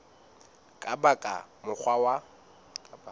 ka ba ka mokgwa wa